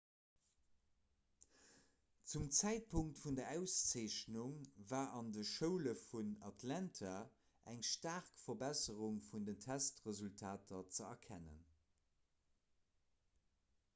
zum zäitpunkt vun der auszeechnung war an de schoule vun atlanta eng staark verbesserung vun den testresultater ze erkennen